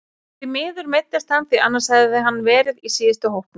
Því miður meiddist hann því annars hefði hann verið í síðustu hópum.